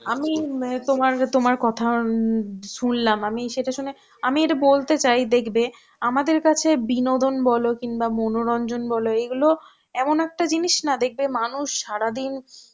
আমি অ্যাঁ তোমার তোমার কথা উম শুনলাম, আমি সেটা শুনে আমি এটা বলতে চাই দেখবে আমাদের কাছে বিনোদন বলো কিংবা মনোরঞ্জন বলো এইগুলো এমন একটা জিনিস না দেখবে মানুষ সারাদিন